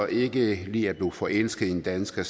ikke lige er blevet forelsket i en dansker